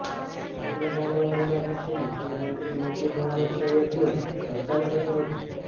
સાતમી જાન્યુઆરીના દિવસે મુખ્યમંત્રી મુતી મોહમ્મદ સઇદનું અવસાન થયું હતું